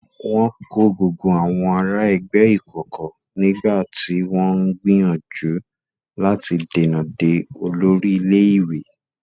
Wọn kó gbogbo àwọn ará ẹgbẹ́ ìkọ̀kọ̀ nígbà tí wọ́n ń gbìyànjú láti dènà de olórí ilé-ìwé.